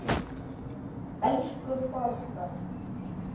Elsku Borga!